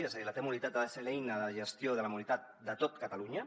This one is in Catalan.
és a dir la t mobilitat ha de ser l’eina de gestió de la mobilitat de tot catalunya